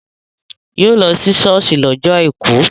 Yóò lọ sí ṣọ́ọ̀ṣì lọ́jọ́ àìkú